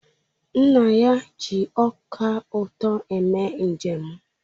Nna ya ji ọka ụtọ eme njem